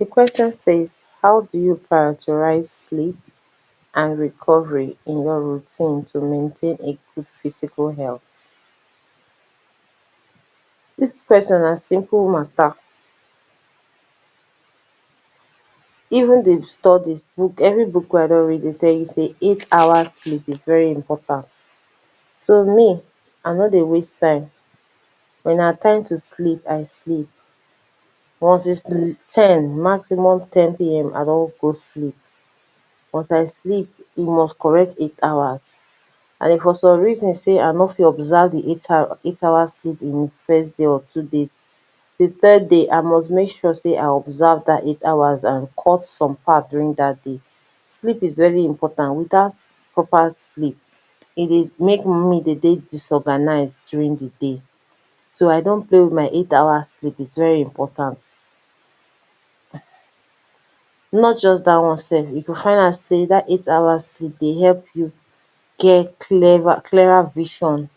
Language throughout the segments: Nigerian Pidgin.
Di question says how do you priorities sleep and recovery in your routine to maintain a good physical health? Dis question na simple matter, even di studies, every book wey I don read dey tell you sey eight hours sleep dey very important, so me I nor dey waste time when na time to sleep, I sleep once its ten maximum ten pm I don go sleep, once I sleep e must correct eight hours, and if for some reason sey I nor fit observe di eight hours eight hours sleep in a day, di first day or two days di next day I must make sure sey I observe dat eight hours, and cut some part during dat day, sleep is very important. Without proper sleep e dey make me dey dey very disorganized, during di day, so I don’t play with my eight hour sleep, its very important. Not only dat one sef, I go find out sey dat eight hour sleep dey help you get clearer clearer vision,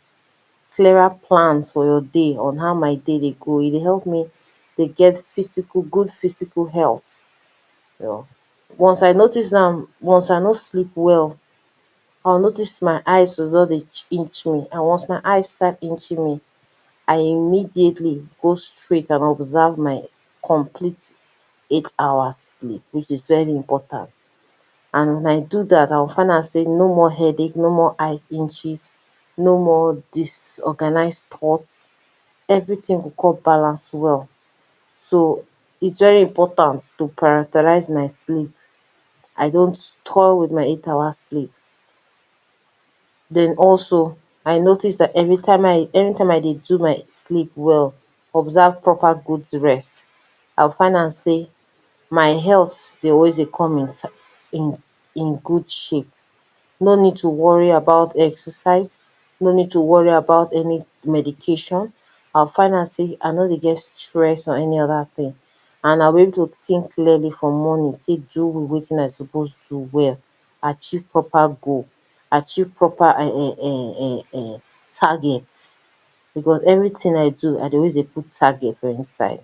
clearer plans for my day on how my day dey go e dey help me dey get physical, good physical health. Once I notice am, once I no sleep well I go notice my eyes go just dey inch me, once my eye start inch me, I immediately I go go straight and observe my complete eight hours which is very important, and wen I do dat I go find out sey no more headache, no more eye inches, no more disorganized thought, everything go come balance well, so is very important to prioritize my slee p. I don’t toy with my eight hours sleep, den also I notice sey every time I dey every time I dey do my sleep well, observe proper good rest, I go find out sey, my health dey always dey come intact, in in in good shape, no need to worry about exercise, no need to worry about any medication, I go find out sey I nor dey get stress or any oda thing and na wey to think clearly for morning take do wetin I suppose do well, achieve proper goal, achieve proper [urn] target because everything wen I do I dey always dey put target for inside.